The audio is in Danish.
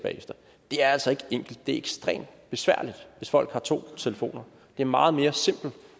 det er altså ikke enkelt det er ekstremt besværligt hvis folk har to telefoner det er meget mere simpelt